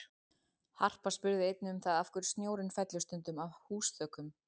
Harpa spurði einnig um það af hverju snjórinn fellur stundum af húsþökum?